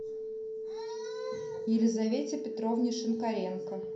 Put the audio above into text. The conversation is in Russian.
елизавете петровне шинкаренко